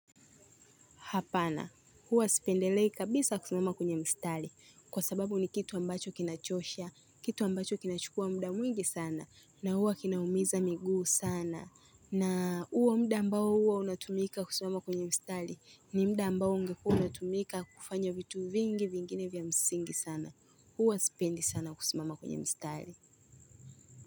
Hapana, huwa sipendelei kabisa kusimama kwenye mstari, kwa sababu ni kitu ambacho kinachosha, kitu ambacho kinachukua muda mwingi sana, na huwa kinaumiza miguu sana. Na huo muda ambao huwa unatumika kusimama kwenye mstari, ni muda ambao ungekuwa unatumika kufanya vitu vingi vingine vya msingi sana. Huwa sipendi sana kusimama kwenye mstari.